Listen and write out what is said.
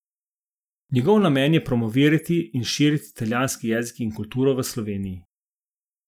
Njegov namen je promovirati in širiti italijanski jezik in kulturo v Sloveniji.